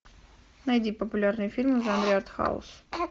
найди популярные фильмы в жанре артхаус